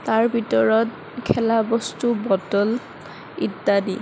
তাৰ ভিতৰত খেলা বস্তু বটল ইত্যাদি।